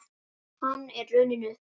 Hann er runninn upp.